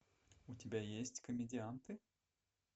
у тебя есть комедианты